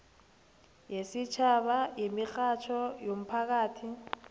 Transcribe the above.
yesitjhaba yemirhatjho yomphakathi